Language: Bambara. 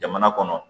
Jamana kɔnɔ